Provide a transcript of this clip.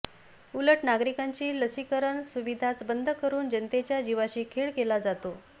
उलट नागरिकांची लसीकरणाची सुविधाच बंद करून जनतेच्या जीवाशी खेळ केला जातो